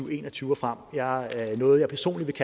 og en og tyve og frem det er noget jeg personligt